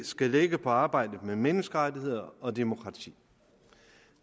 skal lægge på arbejdet med menneskerettigheder og demokrati